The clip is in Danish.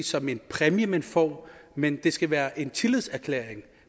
som en præmie man får men at det skal være en tillidserklæring